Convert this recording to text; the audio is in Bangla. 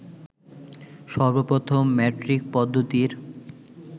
সর্বপ্রথম ম্যাট্রিক পদ্ধতির